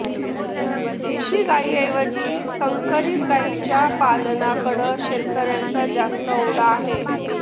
देशी गाईंऐवजी संकरीत गाईंच्या पालनाकडं शेतकऱ्यांचा जास्त ओढा आहे